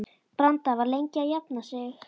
Branda var lengi að jafna sig.